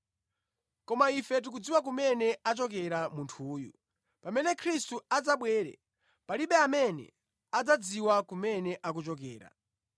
Koma ife tikudziwa kumene achokera munthuyu; pamene Khristu adzabwere, palibe amene adzadziwa kumene akuchokera.”